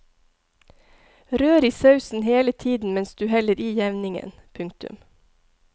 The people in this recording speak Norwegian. Rør i sausen hele tiden mens du heller i jevningen. punktum